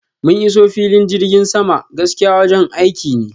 mun iso filin jirgin sama, gaskiya wajen aiki ne